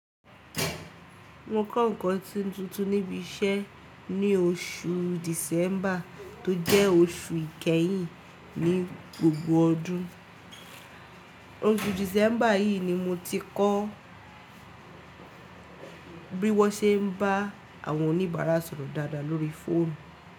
Mo kọ́ ǹkan tuntun níbi iṣẹ́ ní oṣù December tó jẹ́ oṣù kẹ́yìn ní gbogbo ọdún. Oṣù december yìí ni mo ti kọ́ bí wọ́n ṣe ń bá àwọn oníbara sọ̀rọ̀ dáadáa lórí fóònù.